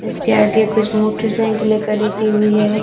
इसके आगे कुछ मोटरसाइकिले खड़ी की हुई है।